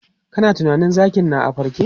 Kana tunanin zakin na a farke?